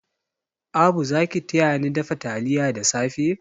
Abu za ki tayani dafa taliya da safe?